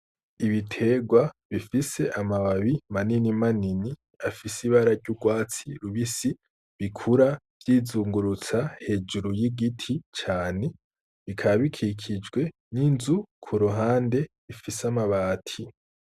Ibiterwa bifise amababi manini manini afise ibara ry’urwatsi rubisi bikura vyizungurutsa hejuru y'igiti cane, bikaba bikikijwe n'inzu ku ruhande ifise amabati.